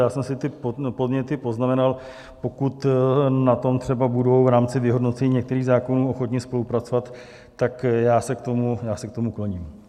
Já jsem si ty podněty poznamenal, pokud na tom třeba budou v rámci vyhodnocení některých zákonů ochotni spolupracovat, tak já se k tomu kloním.